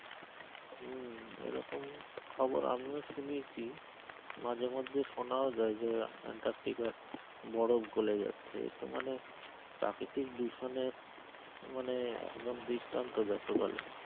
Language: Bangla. হম এরকম খবর আমিও শুনেছি মাঝেমধ্যে শোনাও যায় যে আন্টার্টিকা বরফ গলে যাচ্ছে তো মানে, প্রাকৃতিক দূষণের মানে একদম দৃষ্টান্ত যাকে বলে,